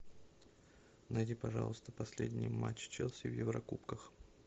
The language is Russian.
найди пожалуйста последний матч челси в еврокубках